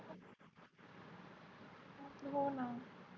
होणा